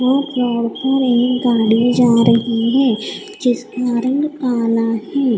वो फ़्लोर पर एक गाड़ी जा रही है जिसके कारण ताला है।